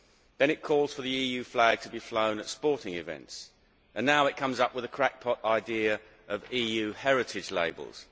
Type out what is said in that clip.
Then it calls for the EU flag to be flown at sporting events, and now it comes up with the crackpot idea of EU heritage labels.